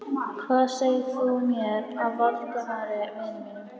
Hvað segir þú mér af Valdimari, vini mínum?